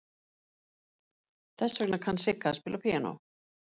Þess vegna kann Sigga að spila á píanó.